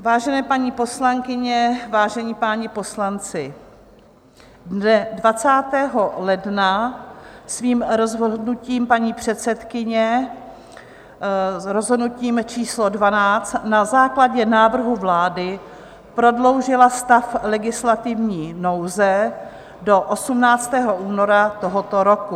Vážené paní poslankyně, vážení páni poslanci, dne 20. ledna svým rozhodnutím paní předsedkyně, rozhodnutím číslo 12, na základě návrhu vlády prodloužila stav legislativní nouze do 18. února tohoto roku.